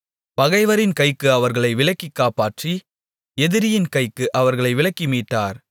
பகைவரின் கைக்கு அவர்களை விலக்கிக் காப்பாற்றி எதிரியின் கைக்கு அவர்களை விலக்கி மீட்டார்